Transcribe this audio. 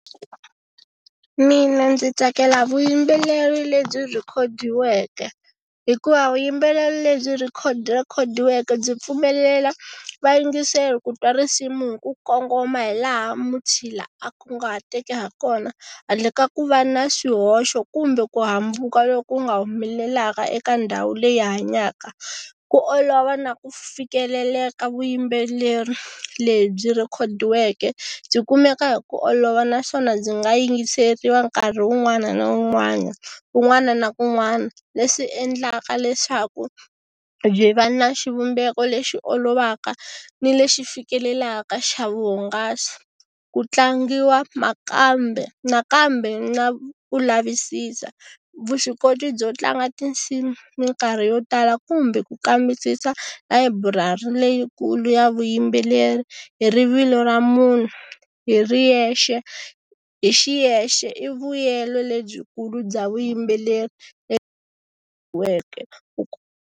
Mina ndzi tsakela vuyimbeleri lebyi rhikhodiweke hikuva vuyimbeleri lebyi rhikhodiweke byi pfumelela vayingiseri ku twa risimu hi ku kongoma hi laha mutshila a kunguhateke ha kona handle ka ku va na swihoxo kumbe ku hambuka loku nga humelelaka eka ndhawu leyi hanyaka. Ku olova na ku fikeleleka vuyimbeleri lebyi rhikhodiweke, byi kumeka hi ku olova naswona ndzi nga yingiseriwa nkarhi wun'wana na wun'wana, kun'wana na kun'wana leswi endlaka leswaku byi va na xivumbeko lexi olovaka ni lexi fikelelaka xa vuhungasi. Ku tlangiwa nakambe nakambe na ku lavisisa, vuswikoti byo tlanga tinsimu minkarhi yo tala kumbe ku kambisisa layiburari leyikulu ya vuyimbeleri hi rivilo ra munhu hi riyexe hi xiyexe i vuyelo lebyikulu bya vuyimbeleri .